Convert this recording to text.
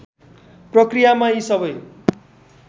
प्रक्रियामा यी सबै